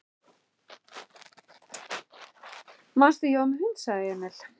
Manstu, ég var með hund, sagði Emil.